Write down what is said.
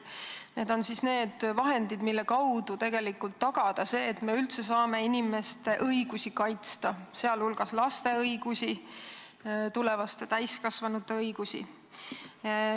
Jutt on vahenditest, mille abil me saame tegelikult tagada selle, et me üldse saame inimeste õigusi kaitsta, sh laste õigusi, tulevaste täiskasvanute õigusi.